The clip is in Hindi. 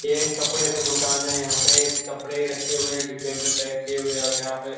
ये एक कपड़े का दुकान है। यहाँ पे कपड़े रखे हुए हैं डिब्बे में पैक किये हुए और यहाँ पे --